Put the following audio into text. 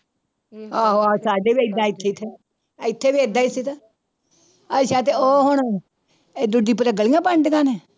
ਆਹੋ ਆਹ ਸਾਡੇ ਵੀ ਏਦਾਂ ਇੱਥੇ ਤੇ ਇੱਥੇ ਵੀ ਏਦਾਂ ਹੀ ਸੀ ਤੇ, ਅੱਛਾ ਤੇ ਉਹ ਹੁਣ ਇਹ ਦੂਜੀ ਪਰੇ ਗਲੀਆਂ ਬਣਦੀਆਂ ਨੇ।